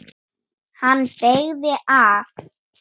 Hann beygði af.